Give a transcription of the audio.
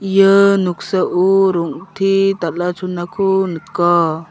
ia noksao rong·te dal·a chonako nika.